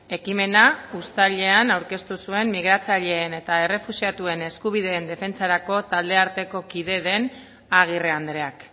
ekimena uztailean aurkeztu zuen migratzaileen eta errefuxiatuen eskubideen defentsarako taldearteko kide den agirre andreak